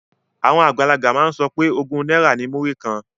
Àwọn àgbàlagbà máa ń pe ogún náírà ní múrí kan